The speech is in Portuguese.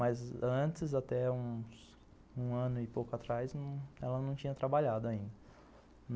Mas antes, até uns um ano e pouco atrás, ela não tinha trabalhado ainda.